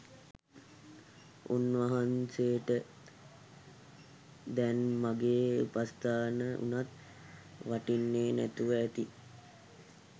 උන්වහන්සේට දැන් මගේ උපස්ථාන වුණත් වටින්නෙ නැතුව ඇති